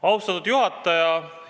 Austatud juhataja!